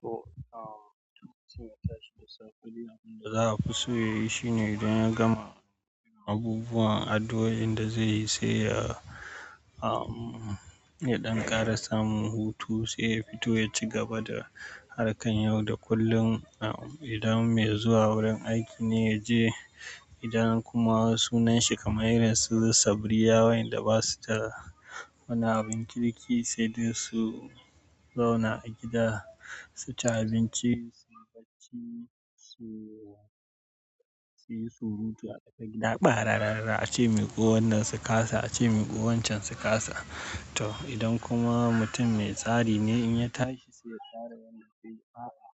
To, mutun ya tashi da safe. Abinda za a fi so ya yi shine idan ya gama yin abubuwan ado, inda zai yi sai ya ya ɗan ƙara samun hutu sai ya fito ya ci gaba da harkan yau da kullum. Idan mai zuwa wurin aiki ne ya je, idan kuma sunan shi kamar irinsu Sabriya wa'yanda ba su da wani abin kirki sai dai su zauna a gida, su ci abinci, su barci, su su yi surutu a tsaka gida. Ɓa, rara rara a ce miƙo wannan su ƙasa, a ce mai ko wancan su ƙasa. To, idan kuma mutum mai tsari ne in ya tashi sai ya tsara yadda zai yi. A'a,